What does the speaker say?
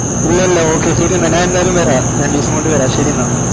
ഇല്ലാ ഇല്ലാ okay ശെരി എന്നാ ഞാൻ ന്തായല്മവേര രണ്ടീസംകൊണ്ട് വെരാ ശെരി എന്നാ